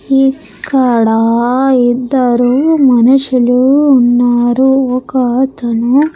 ఇక్కడ ఇద్దరు మనుషులు ఉన్నారు ఒక అతను.